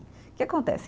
O que acontece?